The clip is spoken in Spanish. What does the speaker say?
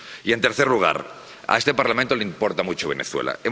En tercer lugar a este Parlamento le importa mucho Venezuela.